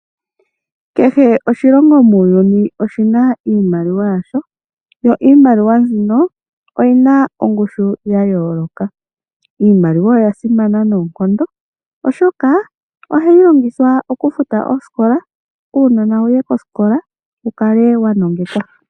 Kehe oshilongo muuyuni oshina iimaliwa yasho yo iimaliwa mbino oyina ongushu ya yooloka ,iimaliwa oya simana noonkondo oshoka ohayi longithwa okufuta oosikola uunona wuye kosikola wu kale wa nongekwa.